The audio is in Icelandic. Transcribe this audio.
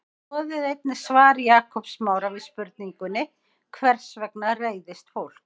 Skoðið einnig svar Jakobs Smára við spurningunni Hvers vegna reiðist fólk?